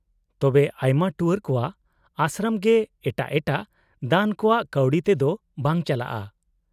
-ᱛᱚᱵᱮ ᱟᱭᱢᱟ ᱴᱩᱣᱟᱹᱨ ᱠᱚᱣᱟᱜ ᱟᱥᱨᱚᱢ ᱜᱮ ᱮᱴᱟᱜ ᱮᱴᱟᱜ ᱫᱟᱱ ᱠᱚᱣᱟᱜ ᱠᱟᱹᱣᱰᱤ ᱛᱮᱫᱚ ᱵᱟᱝ ᱪᱟᱞᱟᱜᱼᱟ ?